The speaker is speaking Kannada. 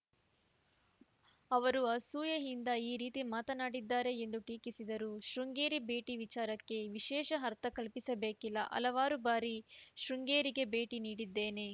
ಅವರು ಅಸೂಯೆಯಿಂದ ಈ ರೀತಿ ಮಾತನಾಡಿದ್ದಾರೆ ಎಂದು ಟೀಕಿಸಿದರು ಶೃಂಗೇರಿ ಭೇಟಿ ವಿಚಾರಕ್ಕೆ ವಿಶೇಷ ಅರ್ಥ ಕಲ್ಪಿಸಬೇಕಿಲ್ಲ ಹಲವಾರು ಬಾರಿ ಶೃಂಗೇರಿಗೆ ಭೇಟಿ ನೀಡಿದ್ದೇನೆ